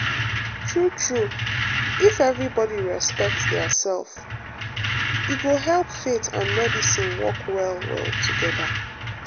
true true if everybody respect their self e go um help faith and medicine work well well together.